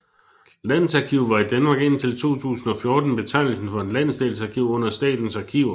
Landsarkiv var i Danmark indtil 2014 betegnelsen for et landsdelsarkiv under Statens Arkiver